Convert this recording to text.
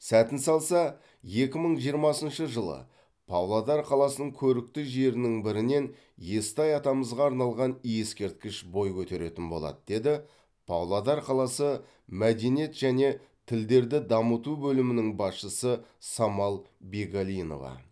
сәтін салса екі мың жиырмасыншы жылы павлодар қаласының көрікті жерінің бірінен естай атамызға арналған ескерткіш бой көтеретін болады деді павлодар қаласы мәдениет және тілдерді дамыту бөлімінің басшысы самал бегалинова